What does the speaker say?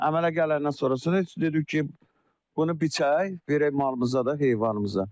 Əmələ gələndən sonra dedik ki, bunu biçək, verək malımıza da, heyvanımıza.